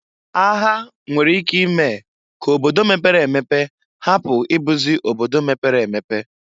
Agha nwere ike ime k'obodo mepere emepe hapu ibuzi obodo mepere emepe.